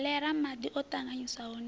kholera madi o tanganyiswaho na